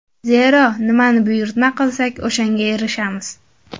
Zero, nimani buyurtma qilsak, o‘shanga erishamiz.